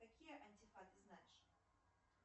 какие антифа ты знаешь